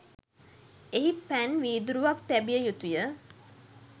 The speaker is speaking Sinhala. එහි පැන් වීදුරුවක් තැබිය යුතු ය.